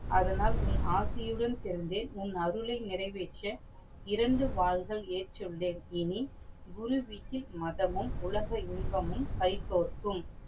அதனால் உன் ஆசையுடன் சேர்ந்து உன் அருளை நிறைவேற்ற இரண்டு வாள்கள் ஏற்றுளேன். இனி குரு வீட்டின் மதமும் உலக இன்பமும் கைகோர்க்கும்.